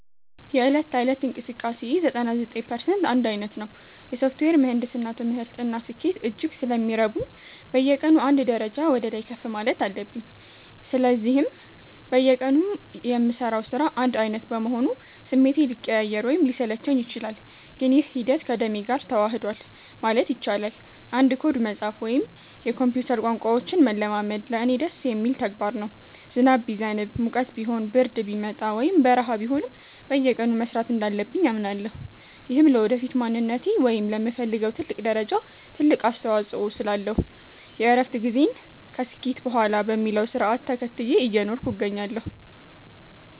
የዕለት ተዕለት እንቅስቃሴዬ 99% አንድ ዓይነት ነው። የሶፍትዌር ምህንድስና ትምህርት እና ስኬት እጅግ ስለሚረቡኝ፣ በየቀኑ አንድ ደረጃ ወደ ላይ ከፍ ማለት አለብኝ። ለዚህም በየቀኑ የምሠራው ሥራ አንድ ዓይነት በመሆኑ ስሜቴ ሊቀያየር ወይም ሊሰለቸኝ ይችላል፤ ግን ይህ ሂደት ከደሜ ጋር ተዋህዷል ማለት ይቻላል። አንድ ኮድ መጻፍ ወይም የኮምፒውተር ቋንቋዎችን መለማመድ ለእኔ ደስ የሚል ተግባር ነው። ዝናብ ቢዘንብ፣ ሙቀት ቢሆን፣ ብርድ ቢመጣ ወይም በረሃ ቢሆንም፣ በየቀኑ መሥራት እንዳለብኝ አምናለሁ። ይህም ለወደፊት ማንነቴ ወይም ለምፈልገው ትልቅ ደረጃ ትልቅ አስተዋጽኦ ስላለው፣ የእረፍት ጊዜን ከስኬት በኋላ በሚለው ሥርዓት ተከትዬ እየኖርኩ እገኛለሁ።